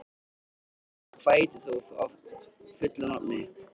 Sólkatla, hvað heitir þú fullu nafni?